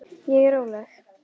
Ég er róleg.